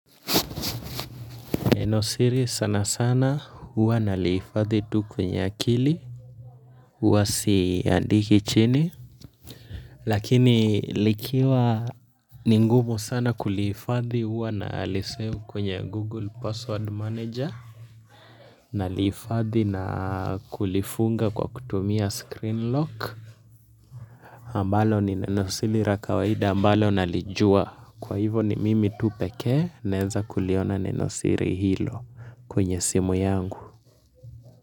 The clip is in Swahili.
Neno siri sana sana huwa nalihifadhi tu kwenye akili, huwa siandiki chini, lakini likiwa ni ngumu sana kulihifadhi huwa nalisave kwenye google password manager, nalihifadhi na kulifunga kwa kutumia screen lock, ambalo ni nenosiri ra kawaida ambalo nalijua kwa hivyo ni mimi tu pekee naenza kuliona nenosiri hilo kwenye simu yangu.